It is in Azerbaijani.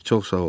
çox sağ ol.